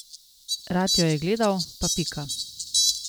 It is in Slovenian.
Rad jo je gledal pa pika.